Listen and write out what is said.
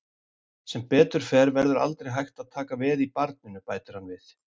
Sem betur fer verður aldrei hægt að taka veð í barninu, bætir hann við.